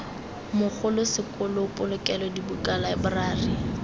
mogolo sekolo polokelo dibuka laeborari